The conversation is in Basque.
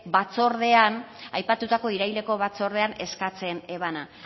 batzordean aipatutako iraileko batzordean eskatzen ebana